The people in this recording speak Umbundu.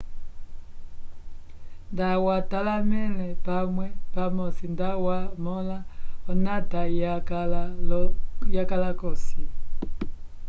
nda watalamele pamwe pamosi nda wa mola onata ya kala kosi